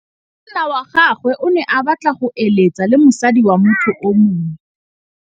Monna wa gagwe o ne a batla go êlêtsa le mosadi wa motho yo mongwe.